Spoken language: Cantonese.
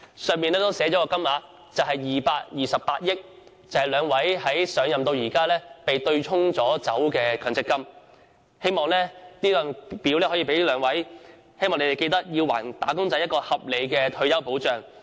申請表格上亦寫上228億元的金額，代表兩位局長上任至今被對沖的強積金總額，希望這份表格能促使兩位局長還"打工仔"合理的退休保障。